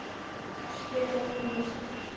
Eik, spilaðu tónlist.